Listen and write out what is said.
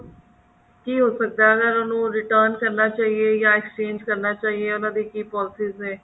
ਕੀ ਹੋ ਸਕਦਾ ਕੀ ਉਹਨੂੰ return ਚਾਹੀਏ ਨਾ exchange ਕਰਨਾ ਚਾਹੀਏ ਉਹਨਾ ਦੀ ਕੀ polices ਨੇ